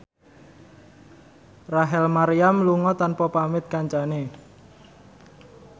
Rachel Maryam lunga tanpa pamit kancane